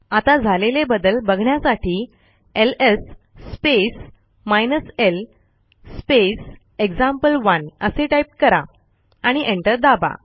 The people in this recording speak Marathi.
आता झालेले बदल बघण्यासाठी ls space hyphen l space example one असे टाईप कराआणि एंटर दाबा